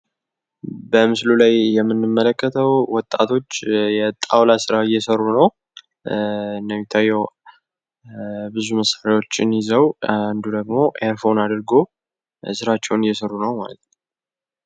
በምስል ላይ የምንመለከተው ወጣቶች የአጣውላ ስራ እየሰሩ ነው እንደሚታየው ብዙ መሣሪያዎችን ይዘው አንዱ ደግሞ ኤርፎን አድርጎ ስራቸውን እየሰሩ ነው ስራቸውን እየሰሩ ነው ።